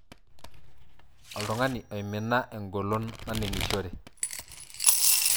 Oltungani oimina engolon naningishore.